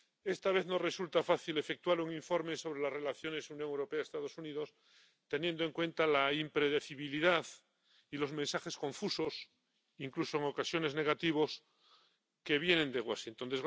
Esta vez no resulta fácil efectuar un informe sobre las relaciones Unión Europea Estados Unidos, teniendo en cuenta la impredecibilidad y los mensajes confusos —incluso en ocasiones negativos— que vienen de Washington.